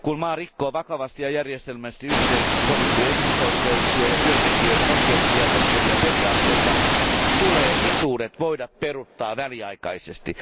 Kun maa rikkoo vakavasti ja järjestelmällisesti yhteisesti sovittuja ihmisoikeuksia ja työntekijöiden oikeuksia koskevia periaatteita, tulee etuudet voida peruuttaa väliaikaisesti.